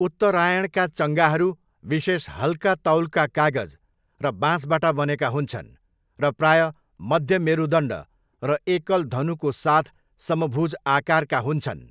उत्तरायणका चङ्गाहरू विशेष हल्का तौलका कागज र बाँसबाट बनेका हुन्छन् र प्रायः मध्य मेरुदण्ड र एकल धनुको साथ समभुज आकारका हुन्छन्।